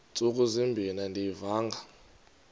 ntsuku zimbin andiyivanga